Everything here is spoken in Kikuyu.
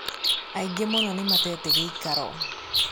Aingĩ muno nĩmatete gĩikaro.